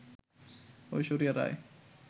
Aishwarya Roy